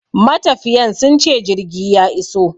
Matafiyan sunce jirgi ya iso